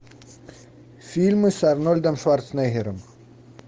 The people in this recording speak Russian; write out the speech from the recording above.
фильмы с арнольдом шварценеггером